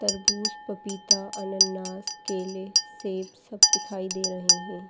तरबूज पपीता अन्नानास केले सेब सब दिखाई दे रहे हैं।